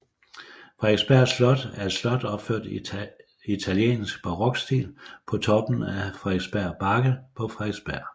Frederiksberg Slot er et slot opført i italiensk barokstil på toppen af Frederiksberg Bakke på Frederiksberg